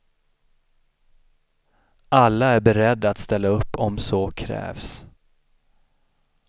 Alla är beredda att ställa upp om så krävs.